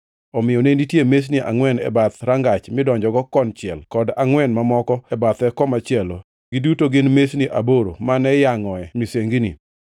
Omiyo ne nitie mesni angʼwen e bath rangach midonjogo konchiel kod angʼwen mamoko e bathe komachielo, giduto gin, mesni aboro mane iyangʼoe misengini.